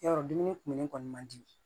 Yarɔ dumuni kumuni kɔni man di